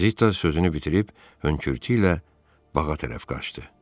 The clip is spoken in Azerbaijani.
Zita sözünü bitirib hönkürtüylə bağa tərəf qaçdı.